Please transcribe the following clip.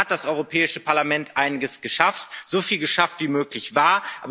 Und da hat das Europäische Parlament einiges geschafft, so viel geschafft, wie möglich war.